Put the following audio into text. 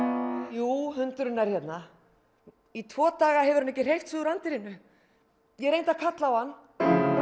jú hundurinn er hérna í tvo daga hefur hann ekki hreyft sig úr anddyrinu ég reyndi að kalla á hann